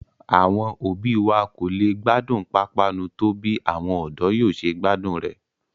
Àwọn òbí wa kò lè gbádùn pápánu tó bí àwọn ọ̀dọ́ yóò ṣe gbádùn rẹ̀